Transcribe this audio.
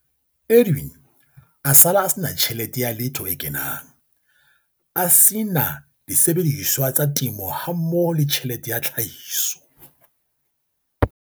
Edwin a sala a se na tjhelete ya letho e kenang, a se na disebediswa tsa temo hammoho le tjhelete ya tlhahiso.